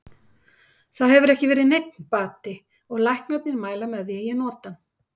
Það hefur ekki verið neinn bati og læknarnir mæla með því að ég noti hann.